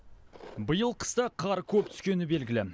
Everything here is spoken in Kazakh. биыл қыста қар коп түскені белгілі